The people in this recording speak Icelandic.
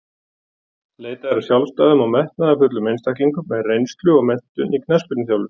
Leitað er að sjálfstæðum og metnaðarfullum einstaklingum með reynslu og menntun í knattspyrnuþjálfun.